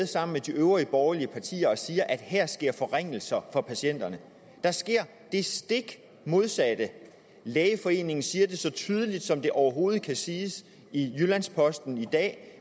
sammen med de øvrige borgerlige partier og siger at her sker forringelser for patienterne der sker det stik modsatte lægeforeningen siger det så tydeligt som det overhovedet kan siges i jyllands posten i dag